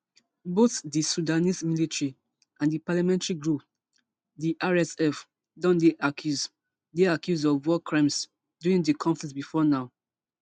both di sudanese military and di paramilitary group di rsf don dey accused dey accused of war crimes during di conflict before now